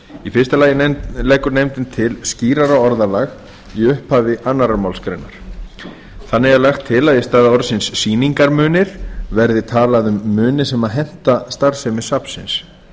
í fyrsta lagi leggur nefndin til skýrara orðalag í upphafi annarrar málsgreinar þannig er lagt til að í stað orðsins sýningarmunir verði talað um muni sem henta starfsemi safnsins